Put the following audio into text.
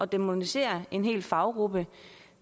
dæmonisere en hel faggruppe